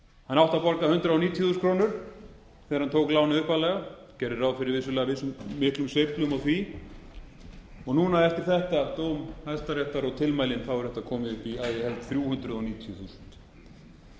hann átti að borga hundrað níutíu þúsund krónur þegar hann tók lánið upphaflega gerði ráð fyrir vissulega miklum sveiflum og því núna eftir þetta dóm hæstaréttar og tilmælin er þetta komið upp í að ég held þrjú hundruð níutíu þúsund